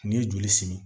N'i ye joli simi